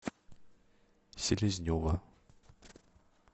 селезнева